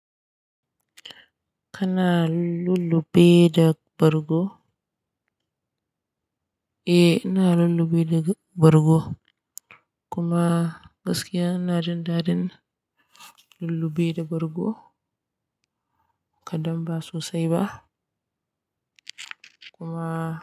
Kana lulluɓe da bargo? Eh, ina lulluɓe da bargo. Kuma gaskiya ina jin daɗin lulluɓe da bargo, kaɗan ba sosai ba. Kuma.